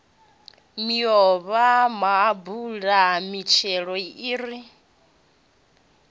miomva maapula mitshelo i re